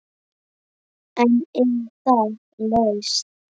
En er það lausn?